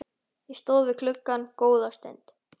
Ég stóð við gluggann góða stund.